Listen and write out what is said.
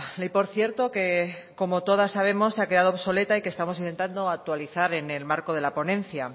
ley por cierto que como todas sabemos se ha quedado obsoleta y que estamos intentando actualizar en el marco de la ponencia